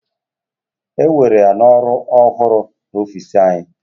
Ewere ya n'ọrụ ọhụrụ n'ọfịsi anyị